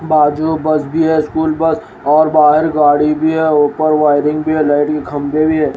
बाजू बस भी है स्कूल बस और बाहर गाड़ी भी है ऊपर वायरिंग भी है लाइट के खंबे भी हैं।